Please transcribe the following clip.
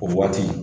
O waati